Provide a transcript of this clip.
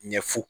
Ɲɛfɔ